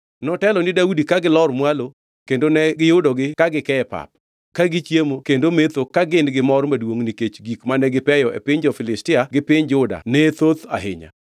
Notelo ni Daudi ka gilor mwalo, kendo ne giyudogi ka gike e pap, ka gichiemo kendo metho ka gin gimor maduongʼ nikech gik mane gipeyo e piny jo-Filistia gi piny Juda ne thoth ahinya.